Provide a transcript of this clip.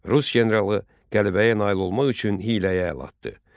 Rus generalı qələbəyə nail olmaq üçün hiyləyə əl atdı.